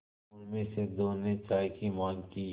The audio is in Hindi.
उनमें से दो ने चाय की माँग की